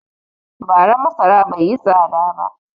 Bara masara bai yi tsada ba.